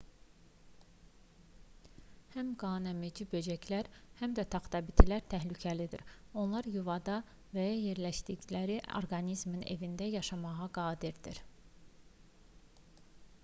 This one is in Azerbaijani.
həm qanəmici böcəklər həm də taxtabitilər təhlükəlidir onlar yuvada və ya yerləşdikləri orqanizmin evində yaşamağa qadirdir